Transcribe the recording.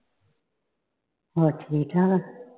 ਹੋਰ ਠੀਕ ਠਾਕ ਆ।